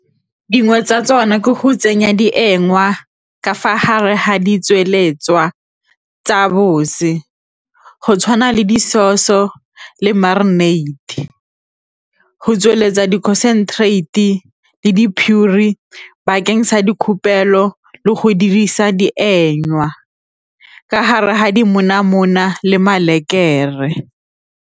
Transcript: Dingwe tsa tsona ke go tsenya di ka fa hare ha di tsweletswa tsa , go tshwana le di-sauce-so le marinate, go tsweletsa di-concentrate le sa dikhupelo le go dirisa ka hare ha dimonamone le .